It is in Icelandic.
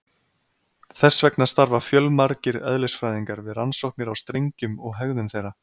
Þess vegna starfa fjölmargir eðlisfræðingar við rannsóknir á strengjum og hegðun þeirra.